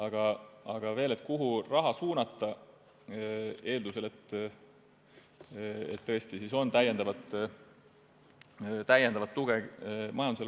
Räägin veel sellest, kuhu raha suunata, eeldusel, et majandusel on tõesti täiendavat tuge vaja.